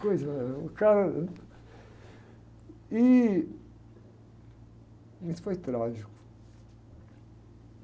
Que coisa, o cara... E... Isso foi trágico.